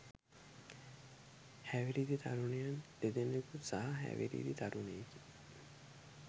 හැවිරිදි තරුණයන් දෙදෙනකු සහහැවිරිදි තරුණයෙකි.